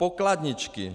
Pokladničky.